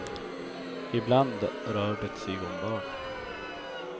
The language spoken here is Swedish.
Ibland rör det sig om barn.